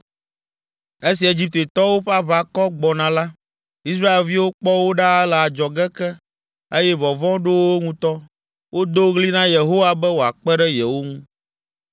Esi Egiptetɔwo ƒe aʋakɔ gbɔna la, Israelviwo kpɔ wo ɖaa le adzɔge ke, eye vɔvɔ̃ ɖo wo ŋutɔ. Wodo ɣli na Yehowa be wòakpe ɖe yewo ŋu.